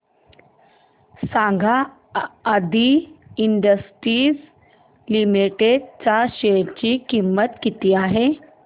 सांगा Aadi industries limited च्या share ची किंमत किती आहे